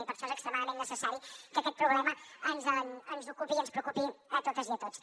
i per això és extremadament necessari que aquest problema ens ocupi i ens preocupi a totes i a tots